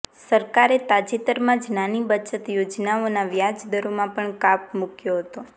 સરકારે તાજેતરમાં જ નાની બચત યોજનાઓના વ્યાજ દરોમાં પણ કાપ મુક્યો હતો